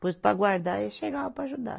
Depois para guardar eles chegavam para ajudar.